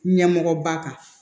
Ɲɛmɔgɔba kan